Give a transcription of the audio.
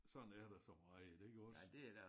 Sådan er der så meget iggås